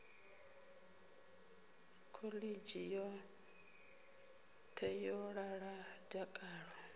khoḽidzhi yoṱhe yo ḓala dakalo